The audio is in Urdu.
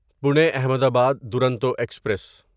پونی احمدآباد دورونٹو ایکسپریس